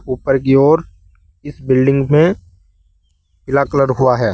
ऊपर की ओर इस बिल्डिंग में पीला कलर हुआ है।